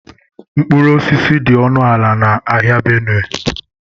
Mkpụrụ osisi dị ọnụ ala na ahịa Benue